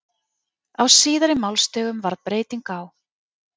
Á síðari málstigum varð breyting á.